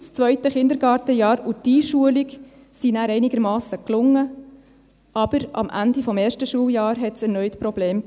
Das 2. Kindergartenjahr und die Einschulung gelangen dann einigermassen, aber am Ende des 1. Schuljahres gab es erneut Probleme.